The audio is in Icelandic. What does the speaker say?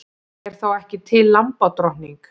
Er þá ekki til lambadrottning?